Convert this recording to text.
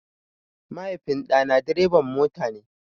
Mahaifin ɗa na dreban mota ne.